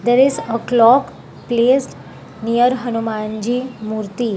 There is a clock placed near the hanumanji murti.